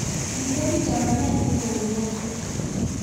kitebi chamanenyin kou moset